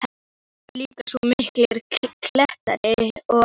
Þar eru líka svo miklir klettar og.